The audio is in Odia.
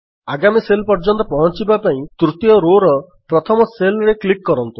ଆଗାମୀ ସେଲ୍ ପର୍ଯ୍ୟନ୍ତ ପହଞ୍ଚିବା ପାଇଁ ତୃତୀୟ Rowରେ ପ୍ରଥମ Cellରେ କ୍ଲିକ୍ କରନ୍ତୁ